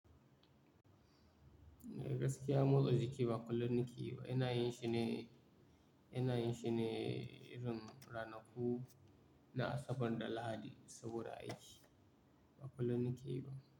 Eh gaskiya motsa jiki ba kullum na ke yi ba. Ina yin shi ne, ina yin shi ne irin ranaku na Asabar da Lahadi saboda aiki. Ba kullum na ke yi ba.